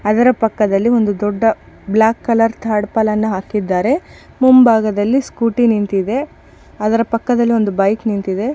ಅದರ ಪಕ್ಕದಲ್ಲಿ black colour tarpaulin ಅನ್ನು ಹಾಕಿದ್ದಾರೆ ಮುಂಭಾಗದಲ್ಲಿ ಸ್ಕೂಟಿ ನಿಂತಿದೆ ಅದರ ಪಕ್ಕದಲ್ಲಿ ಒಂದು ಬೈಕ್ ನಿಂತಿದೆ.